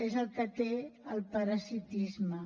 és el que té el parasitisme